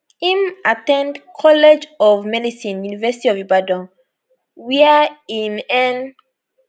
im at ten d college of medicine university of ibadan ibadan wia im earn